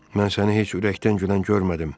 Mən səni heç ürəkdən gülən görmədim.